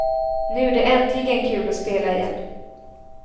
Nu är det äntligen kul att spela igen.